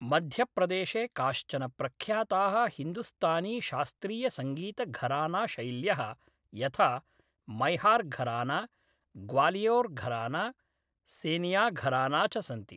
मध्यप्रदेशे काश्चन प्रख्याताः हिन्दुस्तानीशास्त्रीयसङ्गीतघरानाशैल्यः, यथा मैहार्घराना, ग्वालियोर्घराना, सेनियाघराना च सन्ति।